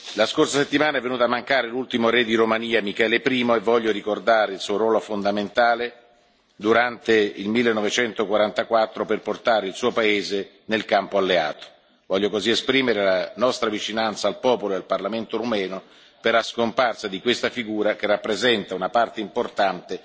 La scorsa settimana è venuto a mancare l'ultimo re di Romania, Michele I, e voglio ricordare il suo ruolo fondamentale nel 1944 per portare il suo paese nel campo alleato, voglio così esprimere la nostra vicinanza al popolo e al parlamento rumeno per la scomparsa di questa figura che rappresenta una parte importante